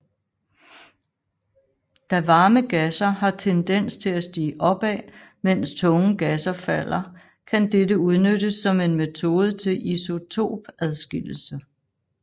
Da varme gasser har tendens til stige opad mens tunge gasser falder kan dette udnyttes som en metode til isotopadskillelse